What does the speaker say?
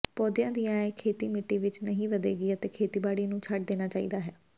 ਪੌਦਿਆਂ ਦੀਆਂ ਇਹ ਖੇਤੀ ਮਿੱਟੀ ਵਿੱਚ ਨਹੀਂ ਵਧੇਗੀ ਅਤੇ ਖੇਤੀਬਾੜੀ ਨੂੰ ਛੱਡ ਦੇਣਾ ਚਾਹੀਦਾ ਹੈ